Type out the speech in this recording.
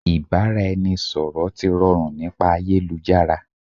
Ìbáraẹniṣọ̀rọ̀ ti rọrùn nípa ayélujára